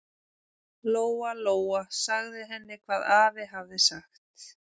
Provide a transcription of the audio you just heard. Lóa-Lóa sagði henni hvað afi hafði sagt.